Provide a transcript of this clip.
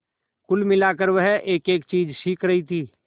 कुल मिलाकर वह एकएक चीज सीख रही थी